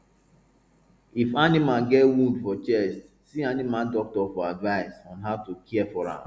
if animal get wound for chest see animal doctors for advice on how to care for am